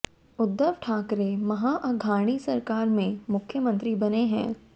उद्धव ठाकरे महा अघाणी सरकार में मुख्यमंत्री बने हैं